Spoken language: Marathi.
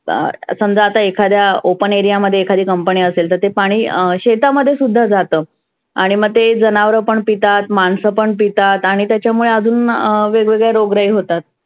बर समजा आता एखाद्या open area मध्ये एखादी company असेल तर ते पाणि शेतामध्ये सुद्धा जातंं. आणि मग ते जनावरं पण पितात, माणसं पण पितात आणि त्याच्यामुळे आजुन वेग वेगळे रोगराई होतात.